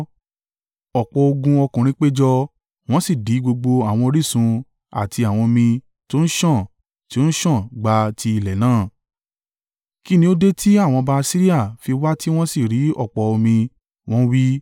Ọ̀pọ̀ ogun ọkùnrin péjọ, wọ́n sì dí gbogbo àwọn orísun àti àwọn omi tó ń sàn tí ó ń sàn gba ti ilẹ̀ náà. “Kí ni ó dé tí àwọn ọba Asiria fi wá tí wọ́n sì rí ọ̀pọ̀ omi?” Wọ́n wí.